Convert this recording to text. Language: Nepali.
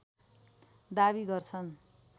दाबी गर्छन्